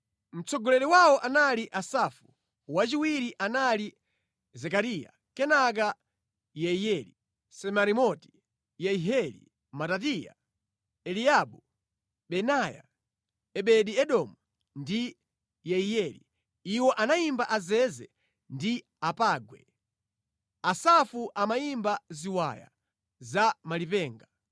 Mtsogoleri wawo anali Asafu, wachiwiri anali Zekariya, kenaka Yeiyeli, Semiramoti, Yehieli, Matitiya, Eliabu, Benaya, Obedi-Edomu ndi Yeiyeli. Iwo amayimba azeze ndi apangwe, Asafu amayimba ziwaya za malipenga,